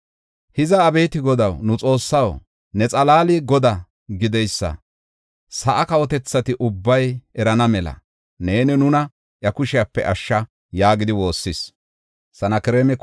Hiza abeeti Godaw, nu Xoossaw, ne xalaali Godaa gideysa sa7aa kawotethati ubbay erana mela neeni nuna iya kushepe ashsha” yaagidi woossis.